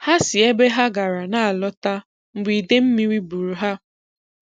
Ha si ebe ha gara na-alọta mgbe ide mmiri buuru ha.